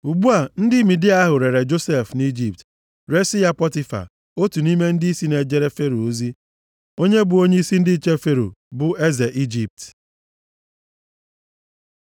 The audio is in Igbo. Ugbu a, ndị Midia ahụ rere + 37:36 Ire maọbụ ịzụta mmadụ dịka ohu bụ otu nʼime ahịa ndị bi nʼọzara na-azụ. \+xt Jen 17:12; 37:26\+xt* Josef nʼIjipt, resi ya Pọtifa, otu nʼime ndịisi na-ejere Fero ozi, onye bụ onyeisi ndị nche Fero, bụ eze Ijipt.